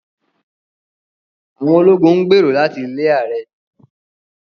Àwọn ológun ń gbèrò láti lé ààrẹ